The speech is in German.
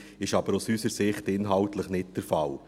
Dies ist aber aus unserer Sicht inhaltlich nicht der Fall.